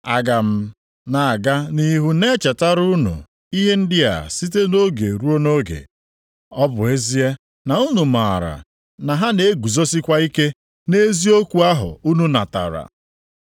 Aga m na-aga nʼihu na-echetara unu ihe ndị a site nʼoge ruo nʼoge. Ọ bụ ezie na unu maara na ha na-eguzosikwa ike nʼeziokwu ahụ unu natara.